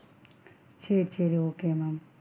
சேரி சேரி okay ma'am.